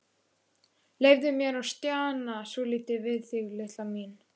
Leyfðu mér að stjana svolítið við þig, litla mín.